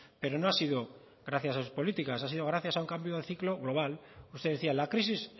pero no ha sido gracias a sus políticas ha sido gracias a un cambio de ciclo global usted decía la crisis